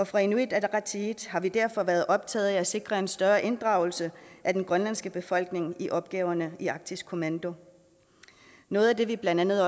fra inuit ataqatigiits side har vi derfor været optaget af at sikre en større inddragelse af den grønlandske befolkning i opgaverne i arktisk kommando noget af det vi blandt andet